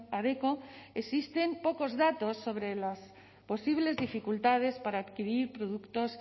adecco existen pocos datos sobre las posibles dificultades para adquirir productos